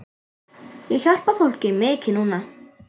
Ég hjálpa fólki mikið núna.